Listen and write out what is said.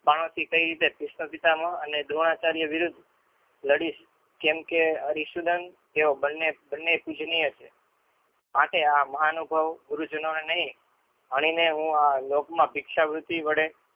બાણથી કઈ રીતે ભિષ્મપિતામાં અને દ્રોણાચાર્ય વિરુદ્ધ લડીશ કેમ કે અરિસૂદતં તેઓ બંને પૂજનીય છે. માટે આ મહાનુભવ ગુરુજનોને નહિ આ લોકમાં ભિક્ષા વૃત્તિ વડે